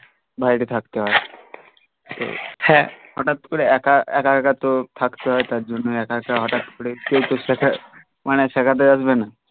বাইরে থাকতে হয়ে হটাত করে একা একা তো থাকতে হই তার জন্য একা একা হটাত করে কেও তো শেখা মানে শেখাতে আসবে না